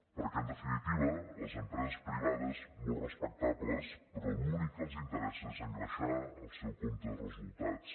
perquè en definitiva a les empreses privades molt respectables però l’únic que els interessa és engreixar el seu compte de resultats